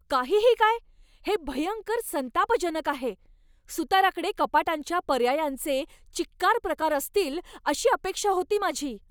काहीही काय? हे भयंकर संतापजनक आहे! सुताराकडे कपाटांच्या पर्यायांचे चिक्कार प्रकार असतील अशी अपेक्षा होती माझी.